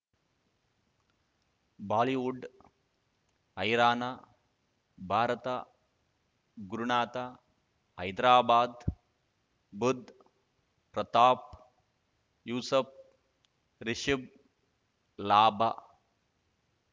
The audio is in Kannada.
ಬಾಲಿವುಡ್ ಹೈರಾಣ ಭಾರತ ಗುರುನಾಥ ಹೈದರಾಬಾದ್ ಬುಧ್ ಪ್ರತಾಪ್ ಯೂಸಫ್ ರಿಷಬ್ ಲಾಭ